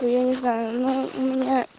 я не знаю но у меня